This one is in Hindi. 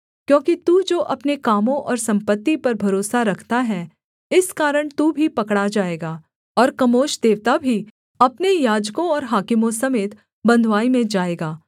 क्योंकि तू जो अपने कामों और सम्पत्ति पर भरोसा रखता है इस कारण तू भी पकड़ा जाएगा और कमोश देवता भी अपने याजकों और हाकिमों समेत बँधुआई में जाएगा